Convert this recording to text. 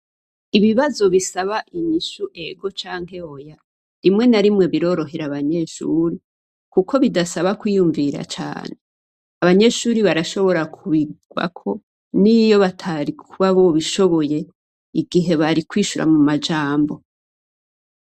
Ibibazo bisaba inyishu ego canke oya rimwe na rimwe birorohera abanyeshure kuko bidasaba kwiyumvira cane, abanyeshure barashobora kubirwako niyo batari kuba bobishobora igihe bari kwishura mumajambo.